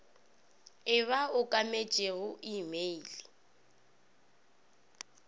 e ba okametšego e mail